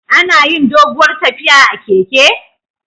Anayin doguwar tafiya a keke